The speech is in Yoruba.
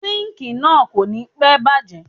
Síńkìì náà kò ní pẹ́ bàjé.